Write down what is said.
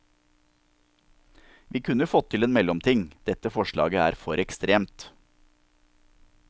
Vi kunne fått til en mellomting, dette forslaget er for ekstremt.